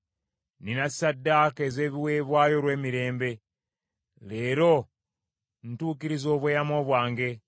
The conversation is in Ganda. “Nnina ssaddaaka ez’ebiweebwayo olw’emirembe, leero ntukiriza obweyamo bwange.